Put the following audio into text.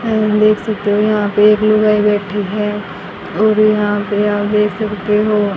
तुम देख सकते हो यहां पे एक लुगाई बैठी है और यहां पे आप देख सकते हो --